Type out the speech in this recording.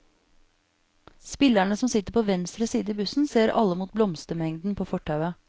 Spillerne som sitter på venstre side i bussen ser alle mot blomstermengden på fortauet.